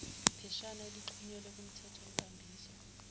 pheshana elixhunyelwe kumthethonkambiso